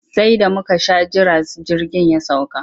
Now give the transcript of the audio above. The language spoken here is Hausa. Sai da muka sha jira jirgin ya sauka.